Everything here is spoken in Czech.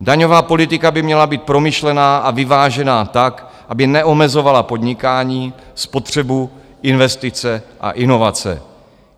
Daňová politika by měla být promyšlená a vyvážená tak, aby neomezovala podnikání, spotřebu, investice a inovace.